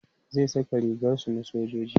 zai Saka rigar su na sojoji